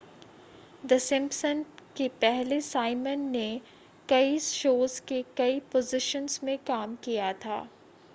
the Simpson के पहले Simon ने कई शोज़ के कई पोज़िशन्स में काम किया था